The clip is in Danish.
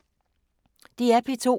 DR P2